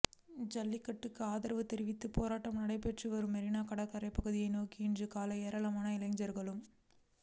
ஜல்லிக்கட்டுக்கு ஆதரவு தெரிவித்து போராட்டம் நடைபெற்று வரும் மெரினா கடற்கரை பகுதியை நோக்கி இன்று காலை ஏராளமான இளைஞர்களும்